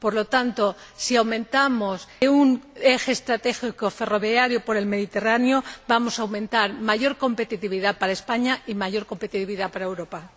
Por lo tanto, si fomentamos un eje estratégico ferroviario por el Mediterráneo, vamos a lograr mayor competitividad para España y mayor competitividad para Europa.